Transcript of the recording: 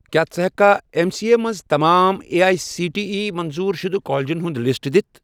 کیٛاہ ژٕ ہیٚککھا ایٚم سی اے مَنٛز تمام A I C T E منظور شُدٕ کالجن ہُنٛد لسٹ دِتھ؟